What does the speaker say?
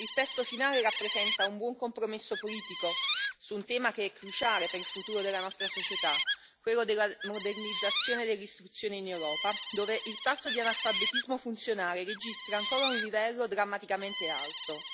Il testo finale rappresenta un buon compromesso politico su un tema che è cruciale per il futuro della nostra società, quello della modernizzazione dell'istruzione in Europa, dove il tasso di analfabetismo funzionale registra ancora un livello drammaticamente alto.